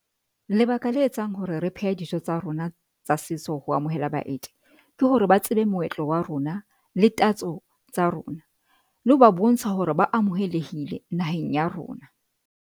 Lebaka la etsang hore re pheha dijo tsa rona tsa setso ho amohela baeti ke hore ba tsebe moetlo wa rona, le tatso tsa rona, le ho ba bontsha hore ba amohelehile naheng ya rona.